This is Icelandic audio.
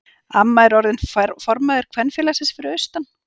Amma er orðin formaður kvenfélagsins fyrir austan.